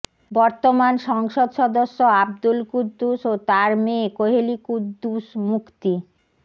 বর্তমান সংসদ সদস্য আব্দুল কুদ্দুস ও তার মেয়ে কোহেলী কুদ্দুস মুক্তি